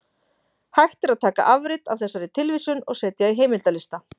Hægt er að taka afrit af þessari tilvísun og setja í heimildalista.